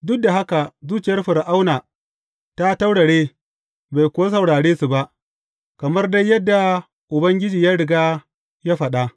Duk da haka zuciyar Fir’auna ta taurare, bai kuwa saurare su ba, kamar dai yadda Ubangiji ya riga ya faɗa.